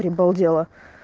прибалдела